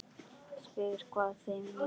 Spyr hvað það megi vera.